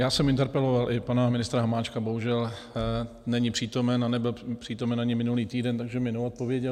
Já jsem interpeloval i pana ministra Hamáčka, bohužel není přítomen a nebyl přítomen ani minulý týden, takže mi neodpověděl.